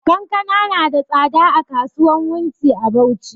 Kankana na da tsada a kasuwan wunti a bauchi